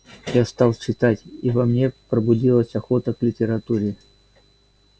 я стал читать и во мне пробудилась охота к литературе